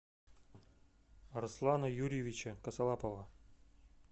арслана юрьевича косолапова